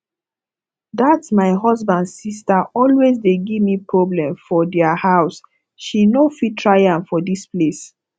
dat my husband sister always dey give me problem for dia house she no fit try am for dis place